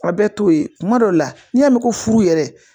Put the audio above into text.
Wa bɛɛ t'o ye kuma dɔ la n'i y'a mɛn ko furu yɛrɛ